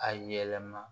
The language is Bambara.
A yɛlɛma